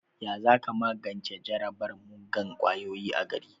Ya za ka magance jarabar muggan ƙwayoyi a gari?